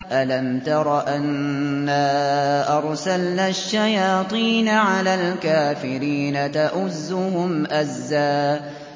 أَلَمْ تَرَ أَنَّا أَرْسَلْنَا الشَّيَاطِينَ عَلَى الْكَافِرِينَ تَؤُزُّهُمْ أَزًّا